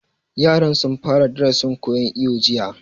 Yaran sun fara darasin koyan iwo jiya